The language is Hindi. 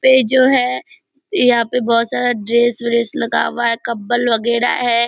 पे जो है यहाँ पे बहोत सारा ड्रेस व्रेस लगा हुआ है कंबल वगैरा है ।